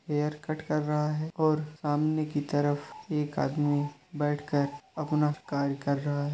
Haircut कर रहा है और सामने की तरफ एक आदमी बैठकर अपना कार्य कर रहा है।